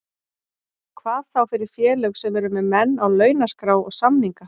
Hvað þá fyrir félög sem eru með menn á launaskrá og samninga.